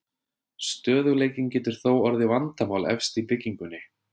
Stöðugleikinn getur þó orðið vandamál efst í byggingunni.